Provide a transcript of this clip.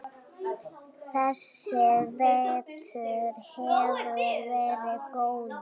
Þessi vetur hefur verið góður.